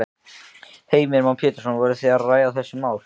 Heimir Már Pétursson: Voru þið að ræða þessi mál?